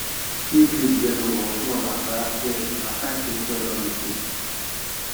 if leaf yellow or small like rat ear na sign say soil don dey sick